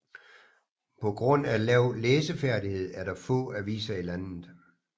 På grund af lav læseferdighed er der få aviser i landet